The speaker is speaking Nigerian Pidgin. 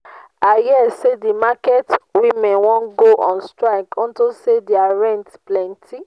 i hear say the market women wan go on strike unto say their rent plenty